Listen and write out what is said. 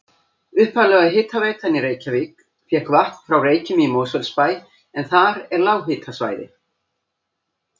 Upphaflega hitaveitan í Reykjavík fékk vatn frá Reykjum í Mosfellsbæ en þar er lághitasvæði.